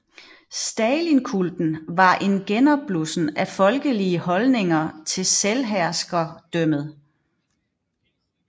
Stalinkulten var en genopblussen af folkelige holdninger til selvherskerdømmet